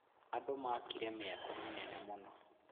Andũ makire mĩako mĩnene mũno.